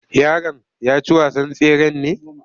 Yaron ya ci wasan tseren ne?